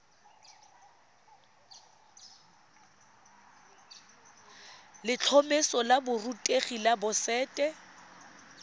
letlhomeso la borutegi la boset